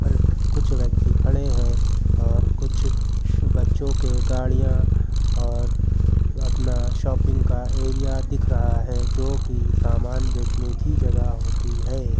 कुछ व्यक्ति खड़े हैं और कुछ बच्चों के गाड़ियां और अपना शॉपिंग का एरिया दिख रहा है जो कि सामान बेचने की जगह होती है।